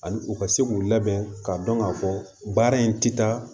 Ani u ka se k'u labɛn k'a dɔn k'a fɔ baara in ti taa